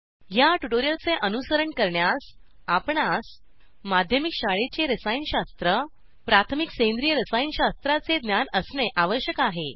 ह्या ट्युटोरियलचे अनुसरण करण्यास आपणास माध्यमिक शाळेचे रसायनशास्त्र प्राथमिक सेंद्रिय रसायनशास्त्राचे ज्ञान असणे आवश्यक आहे